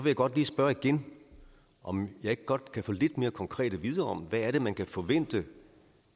jeg godt lige spørge igen om jeg ikke godt kan få noget lidt mere konkret at vide om hvad man kan forvente